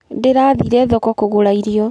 Ndĩrathire thoko kũgũra irio.